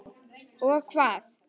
Og hvað.?